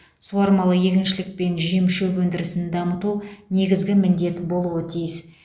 суармалы егіншілік пен жем шөп өндірісін дамыту негізгі міндет болуы тиіс